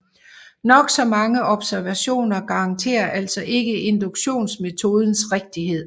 Nok så mange observationer garanterer altså ikke induktionsmetodens rigtighed